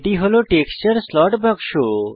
এটি হল texture slot বাক্স